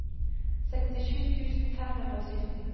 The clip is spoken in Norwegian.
sekstisju tusen fem hundre og sytten